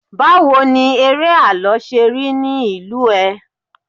bawo ni ere àlọ se rí nì ìlú ẹ